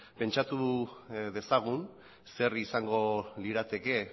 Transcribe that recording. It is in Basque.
pentsatu dezagun zer izango lirateke